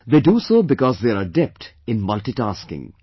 They do so because they are adept in multitasking